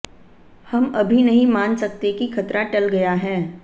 हम अभी नहीं मान सकते कि खतरा टल गया है